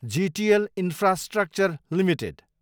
GTL infrastructure Ltd